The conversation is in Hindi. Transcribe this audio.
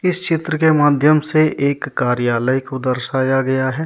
इस चित्र के माध्यम से एक कार्यालय को दर्शाया गया है।